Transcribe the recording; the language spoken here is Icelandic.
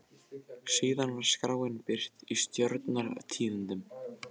Síðan var skráin birt í Stjórnar- tíðindum.